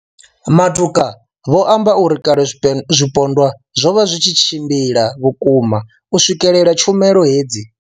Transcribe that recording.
Matuka vho amba uri kale zwipondwa zwo vha zwi tshi tshimbila vhukuma u swikelela tshumelo hedzi.